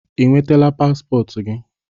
Ị nwetala paspọtụ gị?